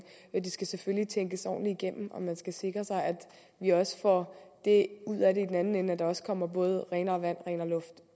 skal selvfølgelig tænkes ordentligt igennem og man skal sikre sig at vi også får det ud af det i den anden ende at der også kommer både renere vand og renere luft